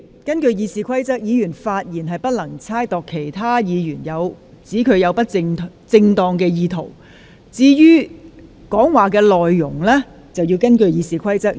根據《議事規則》，議員發言的內容不得意指另一議員有不正當動機，而發言內容亦必須符合《議事規則》的規定。